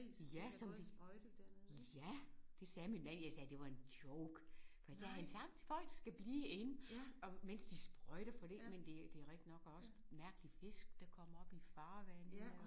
Ja som de ja det sagde min mand jeg sagde det var en joke men så havde han sagt folk skal blive og inde mens de sprøjter for det men det det rigtig nok og også mærkelige fisk der kommer op i farvande og